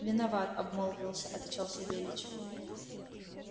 виноват обмолвился отвечал савельич